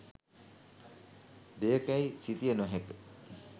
දෙයකැයි සිතිය නොහැක.